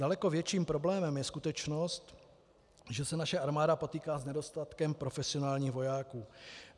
Daleko větším problémem je skutečnost, že se naše armáda potýká s nedostatkem profesionálních vojáků.